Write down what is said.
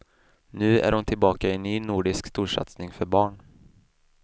Nu är hon tillbaka i en ny nordisk storsatsning för barn.